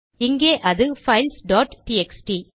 இங்கே அது files dot TXT